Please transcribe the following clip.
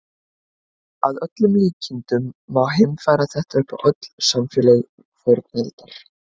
Að öllum líkindum má heimfæra þetta upp á öll samfélög fornaldar.